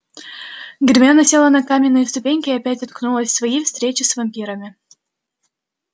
гермиона села на каменные ступеньки и опять уткнулась в свои встречи с вампирами